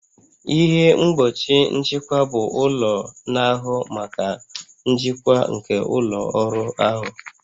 Ihe mgbochi nchịkwa bụ ụlọ na-ahụ maka njikwa nke ụlọ ọrụ ahụ